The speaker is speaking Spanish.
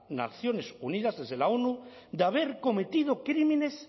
naciones unidas desde la onu de haber cometido crímenes